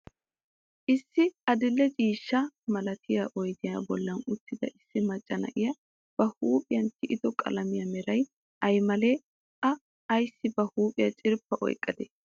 Issi adi'lle ciishsha malattiyaa oyddiyaa bolli uttida issi macca na'iyaa ba huuphiyaa tiyiddo qalammiyaa meraay ay male? A ayssi ba huuphiyaa cirppa oyqqade?